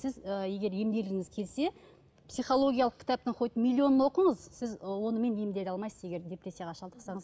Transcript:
сіз ы егер емделгіңіз келсе психологиялық кітаптың хоть миллионын оқыңыз сіз ы онымен емделе алмайсыз егер депрессияға шалдықсаңыз